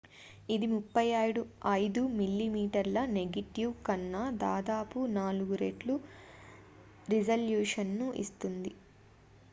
ఇది 35mm negative 3136 mm2 versus 864 కన్నా దాదాపు నాలుగు రెట్లు రిజల్యూషన్ను ఇస్తుంది